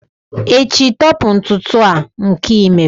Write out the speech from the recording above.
echi, tọpu ntutu a nke i mere!